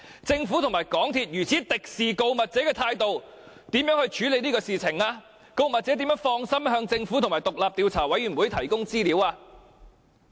政府和港鐵公司以如此敵視告密者的態度處理事件，告密者怎能放心向政府和獨立調查委員會提供資料呢？